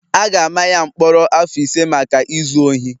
a ga-ama ya mkpọrọ afọ ise maka izu ohi